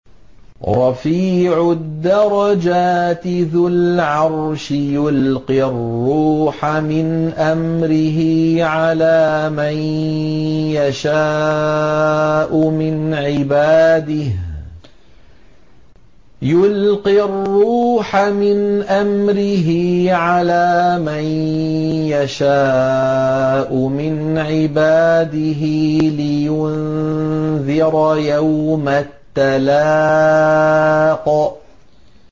رَفِيعُ الدَّرَجَاتِ ذُو الْعَرْشِ يُلْقِي الرُّوحَ مِنْ أَمْرِهِ عَلَىٰ مَن يَشَاءُ مِنْ عِبَادِهِ لِيُنذِرَ يَوْمَ التَّلَاقِ